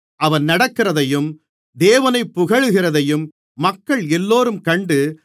அவன் நடக்கிறதையும் தேவனைப் புகழ்கிறதையும் மக்களெல்லோரும் கண்டு